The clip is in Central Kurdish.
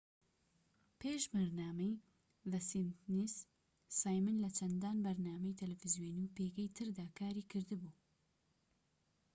پێش بەرنامەی زە سیمپسنس سایمن لە چەندان بەرنامەی تەلەڤیزۆنی و پێگەی تردا کاری کردبوو